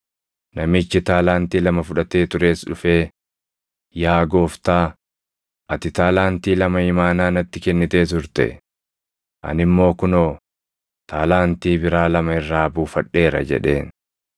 “Namichi taalaantii lama fudhatee tures dhufee, ‘Yaa gooftaa, ati taalaantii lama imaanaa natti kennitee turte; ani immoo kunoo, taalaantii biraa lama irraa buufadheera’ jedheen.